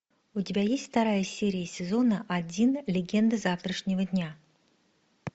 у тебя есть вторая серия сезона один легенды завтрашнего дня